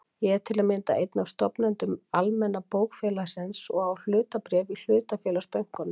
Ég er til að mynda einn af stofnendum Almenna bókafélagsins og á hlutabréf í hlutafélagsbönkunum.